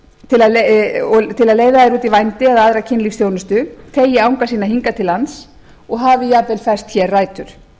til að leiða þær út í vændi eða aðra kynlífsþjónustu teygi anga sína hingað til lands og hafi jafnvel fest hér rætur